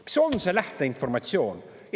Mis on see lähteinformatsioon?